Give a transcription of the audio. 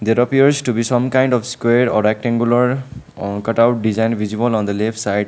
there appears to be some kind of square or rectangular on cut out design visible on the left side.